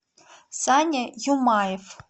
саня юмаев